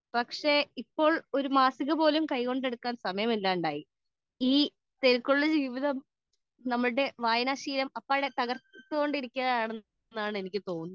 speaker 2 പക്ഷെ ഇപ്പൊ ഒരു മാസിക പോലും കൈകൊണ്ട് എടുക്കാൻ സമയം ഇല്ലാണ്ടായി ഈ തിരക്കിനുള്ളിൽ നമ്മുടെ വായന ശീലം തകർത്തു കൊണ്ടിരിക്കുകയാണെന്ന് എനിക്ക് തോന്നുന്നത്